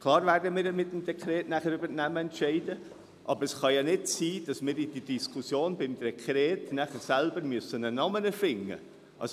Klar: Wir werden mit dem Dekret über die Namen entscheiden, aber es kann ja nicht sein, dass wir in der Diskussion zum Dekret selber einen Namen erfinden müssen.